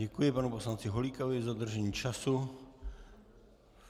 Děkuji panu poslanci Holíkovi za dodržení času.